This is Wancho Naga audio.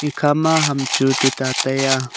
ekhama ham chu tuta taiya.